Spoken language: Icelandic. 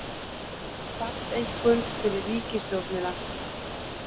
Falleinkunn fyrir ríkisstjórnina